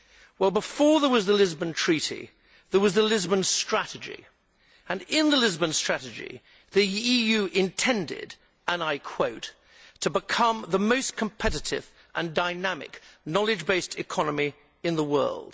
Well, before there was the Lisbon Treaty, there was the Lisbon Strategy, and in the Lisbon Strategy, the EU intended, and I quote, to become the most competitive and dynamic knowledge based economy in the world'.